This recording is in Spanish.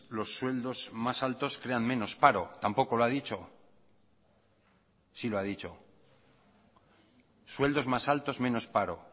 los sueldos más altos crean menos paro tampoco lo ha dicho sí lo ha dicho sueldos más altos menos paro